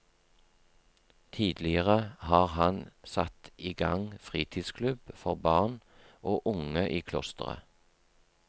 Tidligere har han satt i gang fritidsklubb for barn og unge i klosteret.